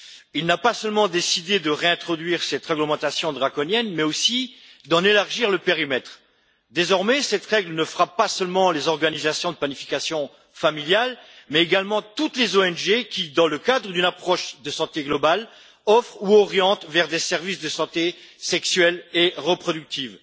Il n'a pas seulement décidé de réintroduire cette réglementation draconienne, mais aussi d'en élargir le périmètre. Désormais cette règle frappe non seulement les organisations de planification familiale, mais également toutes les ONG qui, dans le cadre d'une approche de santé globale, offrent ou orientent vers des services de santé sexuelle et reproductive.